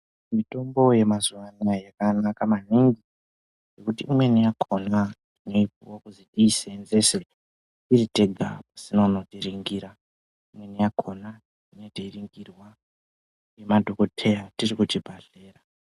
Mitombo yemazuwa anaya yakanaka maningi nekuti imweni yakhona tinoipuwa kuti tiisevenzese tiritega pasina unotiringira imweni yakhona tinenge teiringirwa ngemadhokoteya tiri kuchibhadhlera.